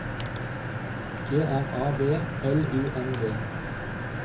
G R A V L U N D